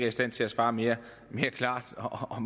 i stand til at svare mere klart og